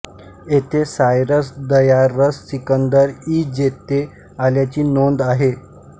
येथे Cyrus Darius Sikandar ई जेते आल्याची नोंद आहे